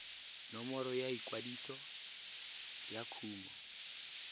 nomoro ya ikwadiso ya kumo